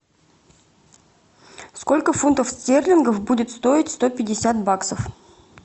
сколько фунтов стерлингов будет стоить сто пятьдесят баксов